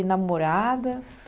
E namoradas?